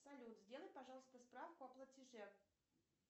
салют сделай пожалуйста справку о платеже